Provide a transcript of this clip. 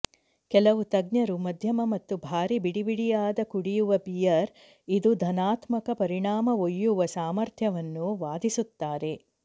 ಕೆಲವು ತಜ್ಞರು ಮಧ್ಯಮ ಮತ್ತು ಭಾರೀ ಬಿಡಿಬಿಡಿಯಾದ ಕುಡಿಯುವ ಬಿಯರ್ ಇದು ಧನಾತ್ಮಕ ಪರಿಣಾಮ ಒಯ್ಯುವ ಸಾಮರ್ಥ್ಯವನ್ನು ವಾದಿಸುತ್ತಾರೆ